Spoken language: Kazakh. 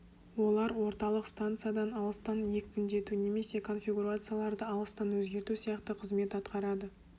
олар орталық станциядан алыстан екпіндету немесе конфигурацияларды алыстан өзгерту сияқты қызмет атқарады